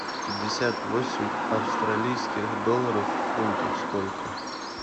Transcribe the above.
пятьдесят восемь австралийских долларов в фунтах сколько